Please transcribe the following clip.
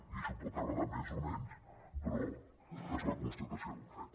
i això pot agradar més o menys però és la constatació d’un fet